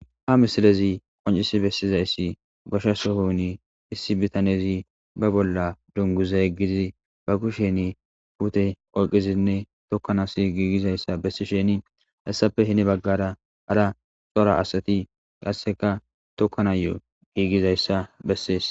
Ha misilezi qoncisi bessizayssi gosha sohoni issi bitanezi ba bolla dunguza yeggiizi ba kushen pute olqizinne tokkanasi giigizayssa bessisheni hassappe hini baggara ara xora asati qasseka tokkanayo giigizayssa bessees.